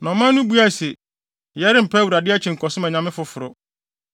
Na ɔman no buae se, “Yɛrempa Awurade akyi nkɔsom anyame foforo.